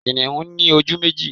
Kìnìún ní ojú méjì